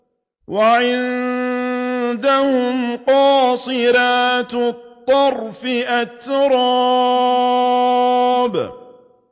۞ وَعِندَهُمْ قَاصِرَاتُ الطَّرْفِ أَتْرَابٌ